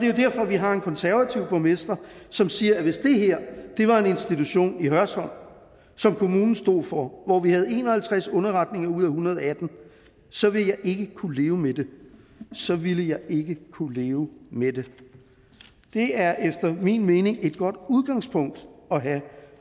jo derfor vi har en konservativ borgmester som siger hvis det her var en institution i hørsholm som kommunen stod for hvor vi havde en og halvtreds underretninger ud af en hundrede og atten så ville jeg ikke kunne leve med det så ville jeg ikke kunne leve med det det er efter min mening et godt udgangspunkt at have